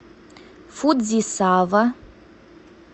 фудзисава